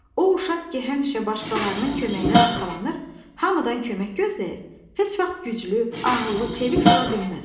O uşaq ki, həmişə başqalarının köməyinə arxalanır, hamıdan kömək gözləyir, heç vaxt güclü, ağıllı, çevik ola bilməz.